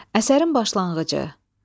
Əsərin başlanğıcı.